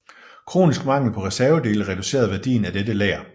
Kronisk mangel på reservedele reducerede værdien af dette lager